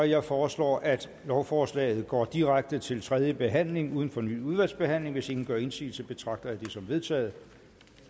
jeg foreslår at lovforslaget går direkte til tredje behandling uden fornyet udvalgsbehandling hvis ingen gør indsigelse betragter jeg det som vedtaget